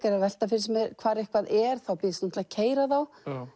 er að velta fyrir sér hvar eitthvað er þá býðst hún til að keyra þá